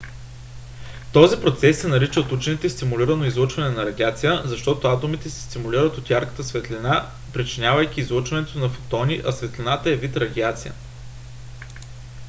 този процес се нарича от учените стимулирано излъчване на радиация защото атомите се стимулират от ярката светлина причинявайки излъчването на фотони а светлината е вид радиация